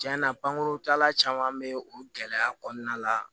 Tiɲɛ na pankurutala caman be o gɛlɛya kɔnɔna la